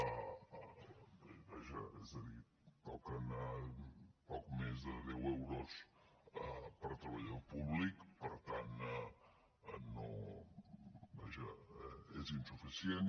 vaja és a dir toquen a poc més de deu euros per treballador públic per tant és insuficient